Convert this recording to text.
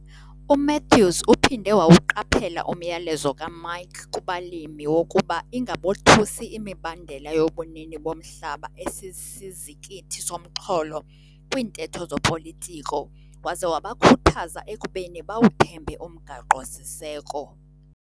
UMathews uphinde wawuqaphela umyalezo kaMike kubalimi wokuba ingabothusi imibandela yobunini bomhlaba esisizikithi somxholo kwiintetho zopolitiko waze wabakhuthaza ekubeni bawuthembe umgaqo-siseko.